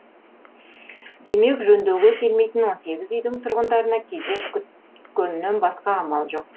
демек жөндеуге келмейтін он сегіз үйдің тұрғындарына кезек күткөннен басқа амал жоқ